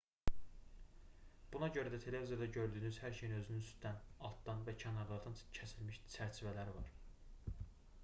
buna görə də televizorda gördüyünüz hər şeyin özünün üstdən altdan və kənarlardan kəsilmiş çərçivələri var